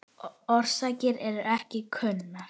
Orsakir eru ekki kunnar.